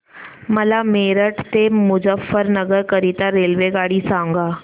मला मेरठ ते मुजफ्फरनगर करीता रेल्वेगाडी सांगा